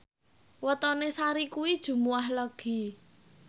wetone Sari kuwi Jumuwah Legi